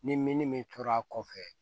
Ni min tora a kɔfɛ